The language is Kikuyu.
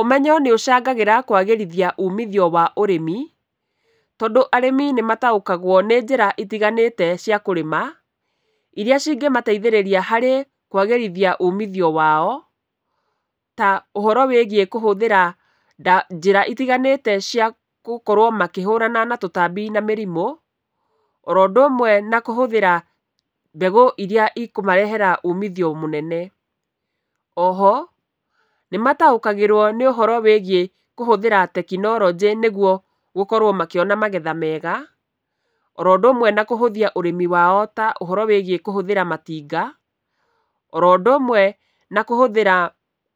Ũmenyo nĩ ũcangagĩra kwagĩrithia umithio wa ũrĩmi, tondũ arĩmi nĩ mataũkagwo nĩ njĩra itiganĩte cia kũrĩma, irĩa cingĩmateithĩrĩria harĩ kwagĩrithia umithio wao, ta ũhoro wĩgiĩ kũhũthĩra njĩra itiganĩte cia gũkorwo makĩhũrana na tũtambi na mĩrimũ, oro ũndũ ũmwe na kũhũthĩra mbegũ irĩa ikũmarehera umithio mũnene. Oho, nĩ mataũkagĩrwo nĩ ũhoro wĩgiĩ kũhũthĩra tekinoronjĩ nĩguo gũkorwo makĩona magetha mega, oro ũndũ ũmwe na kũhũthia ũrĩmi wa ta ũhoro wĩgiĩ kũhũthĩra matinga, oro ũndũ ũmwe na kũhũthĩra